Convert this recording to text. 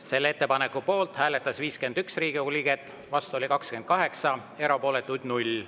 Selle ettepaneku poolt hääletas 51 Riigikogu liiget, vastu oli 28, erapooletuid 0.